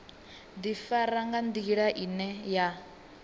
ḓifara nga nḓila ine ya